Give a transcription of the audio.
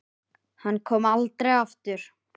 Hann kom aldrei aftur.